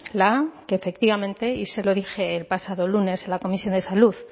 la a que efectivamente y se lo dije el pasado lunes en la comisión de salud